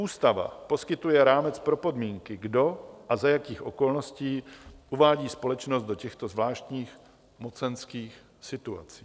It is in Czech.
Ústava poskytuje rámec pro podmínky, kdo a za jakých okolností uvádí společnost do těchto zvláštních mocenských situací.